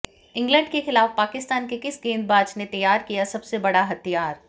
England के खिलाफ पाकिस्तान के किस गेंदबाज ने तैयार किया सबसे बड़ा हथियार